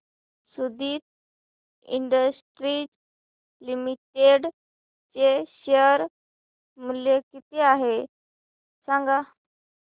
Suditi Industries Limited चे share मूल्य किती आहे सांगा